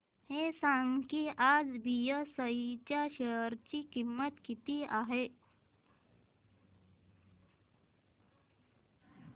हे सांगा की आज बीएसई च्या शेअर ची किंमत किती आहे